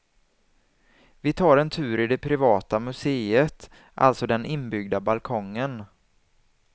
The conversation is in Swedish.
Vi tar en tur i det privata muséet, alltså den inbyggda balkongen.